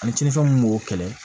Ani tiɲɛnifɛnw b'o kɛlɛ